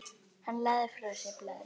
Hann lagði frá sér blaðið.